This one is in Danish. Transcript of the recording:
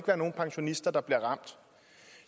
være nogen pensionister der bliver ramt